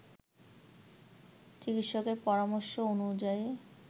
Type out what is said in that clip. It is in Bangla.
চিকিৎসকের পরামর্শ অনুযায়ী